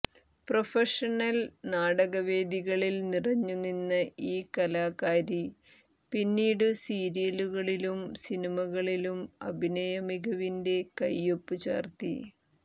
professional നാടകവേദികളിൽ നിറഞ്ഞു നിന്ന ഈ കലാകാരി പിന്നീടു സീരിയലുകളിലും സിനിമകളിലും അഭിന യമികവിന്റെ കയ്യൊപ്പു ചാര്ത്തി